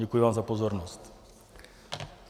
Děkuji vám za pozornost.